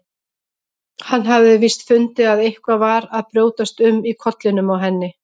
Hann hafði víst fundið að eitthvað var að brjótast um í kollinum á henni.